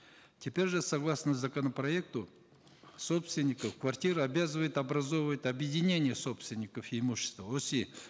теперь же согласно законопроекта собственников квартиры обязывают образовывать объединения собственников имущества оси